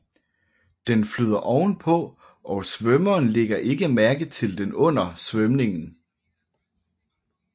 Den flyder ovenpå og svømmeren ligger ikke mærke til den under svømningen